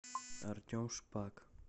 артем шпак